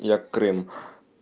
я крым